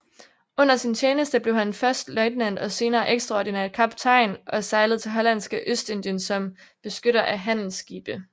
Under sin tjeneste blev han først løjtnant og senere ekstraordinær kaptajn og sejlede til Hollandske Ostindien som beskytter af handelsskibe